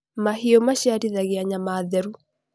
mahiũ maciarithagia nyama theru